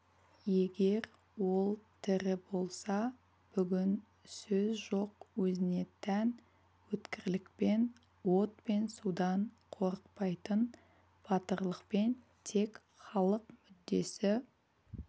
егер ол тірі болса бүгін сөз жоқ өзіне тән өткірлікпен от пен судан қорықпайтын батырлықпен тек халық мүддесі